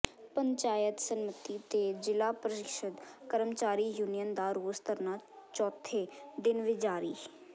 ਪੰਚਾਇਤ ਸੰਮਤੀ ਤੇ ਜ਼ਿਲ੍ਹਾ ਪ੍ਰੀਸ਼ਦ ਕਰਮਚਾਰੀ ਯੂਨੀਅਨ ਦਾ ਰੋਸ ਧਰਨਾ ਚੌਥੇ ਦਿਨ ਵੀ ਜਾਰੀ